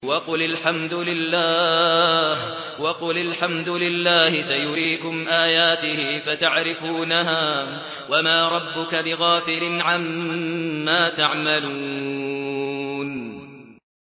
وَقُلِ الْحَمْدُ لِلَّهِ سَيُرِيكُمْ آيَاتِهِ فَتَعْرِفُونَهَا ۚ وَمَا رَبُّكَ بِغَافِلٍ عَمَّا تَعْمَلُونَ